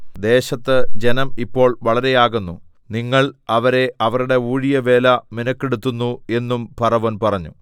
ദേശത്ത് ജനം ഇപ്പോൾ വളരെ ആകുന്നു നിങ്ങൾ അവരെ അവരുടെ ഊഴിയവേല മിനക്കെടുത്തുന്നു എന്നും ഫറവോൻ പറഞ്ഞു